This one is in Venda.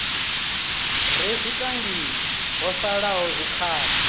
re zwitangini ho salaho zwikhala